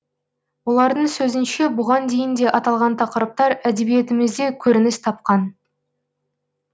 олардың сөзінше бұған дейін де аталған тақырыптар әдебиетімізде көрініс тапқан